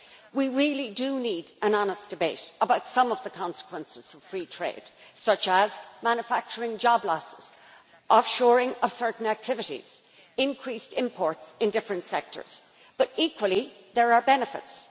We really do need an honest debate about some of the consequences of free trade, such as manufacturing job losses, the offshoring of certain activities and increased imports in different sectors but, equally, there are benefits.